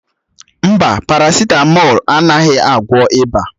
Mba, páràsitámol anaghị agwọ ịba.